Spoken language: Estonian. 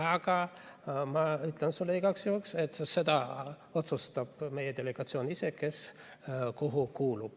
Aga ma ütlen sulle igaks juhuks, et seda otsustab meie delegatsioon ise, kes kuhu kuulub.